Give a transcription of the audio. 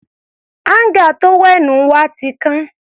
Áńgà tówẹ́ẹ̀nù wa ti kán.